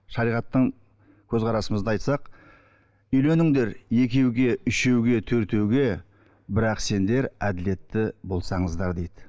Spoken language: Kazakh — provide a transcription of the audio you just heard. шариғаттың көзқарасымызды айтсақ үйленіңдер екеуге үшеуге төртеуге бірақ сендер әділетті болсаңыздар дейді